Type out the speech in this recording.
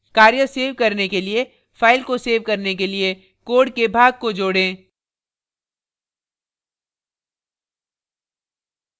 कार्य सेव करने के लिए file को सेव करने के लिए code के भाग को जोड़ें